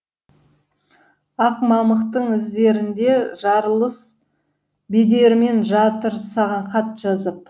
ақ мамықтың іздерінде жарылыс бедерімен жатыр саған хат жазып